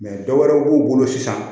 dɔ wɛrɛw b'u bolo sisan